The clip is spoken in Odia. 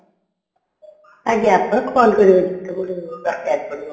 ଆଜ୍ଞା ଆପଣ call କରିବେ ଯେତେବେଳେ ଦରକାର ପଡିବ